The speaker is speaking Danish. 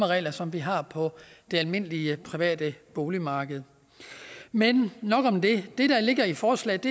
regler som vi har på det almindelige private boligmarked men nok om det det der ligger i forslaget